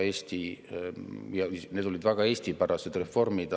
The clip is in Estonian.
Need olid väga Eesti-pärased reformid.